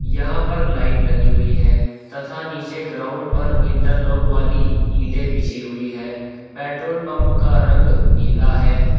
यहां पर लाइट लगी हुई है तथा नीचे ग्राउंड पर इंटरलॉक वाली ईंटे बिछी हुई हैं पेट्रोल पंप का रंग नीला है।